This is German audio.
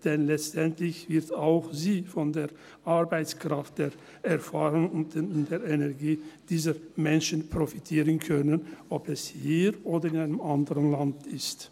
Denn letztendlich wird auch sie von der Arbeitskraft, der Erfahrung und der Energie dieser Menschen profitieren können, ob es hier oder in einem anderen Land ist.